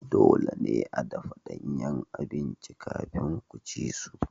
Dole ne a dafa danyen abinci kafin ku ci su.